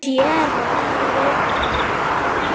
Séra Friðrik